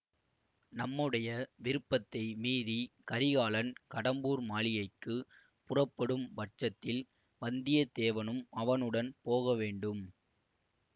நம்முடைய விருப்பத்தை மீறிக் கரிகாலன் கடம்பூர் மாளிகைக்கு புறப்படும் பட்சத்தில் வந்தியத்தேவனும் அவனுடன் போக வேண்டும்